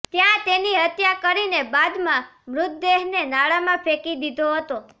ત્યાં તેની હત્યા કરીને બાદમાં મૃતદેહને નાળામાં ફેંકી દીધો હતો